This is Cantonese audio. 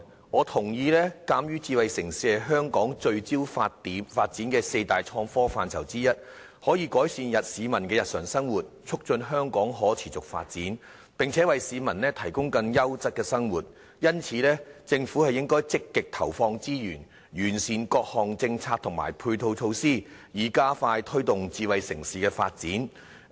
我認同，鑒於智慧城市是香港聚焦發展的四大創科範疇之一，可以改善市民的日常生活，促進香港可持續發展，並且為市民提供更優質的生活，因此，政府應該積極投放資源，完善各項政策和配套措施，以加快推動智慧城市的發展。